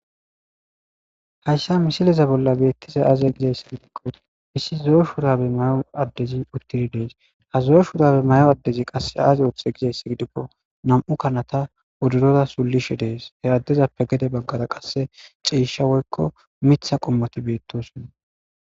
hayssa misileza bolla beettize aaze gizayssi gidikko issi zo7o shurabe may7o addezi uttiri dees ha zo7o shurabe may7o addezi qasse aaze ooththe gizayss gidikko nam7u kanata wodoroda sullishe dees he addezappe gede baggara qasse ceesha woykko mitha qommoti beettosonna